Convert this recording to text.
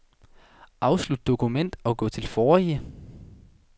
Afslut dokument og gå til forrige.